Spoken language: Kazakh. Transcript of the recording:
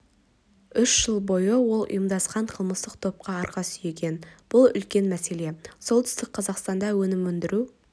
үш жыл бойы ол ұйымдасқан қылмыстық топқа арқа сүйеген бұл үлкен мәселе солтүстік қазақстанда өнім өндіру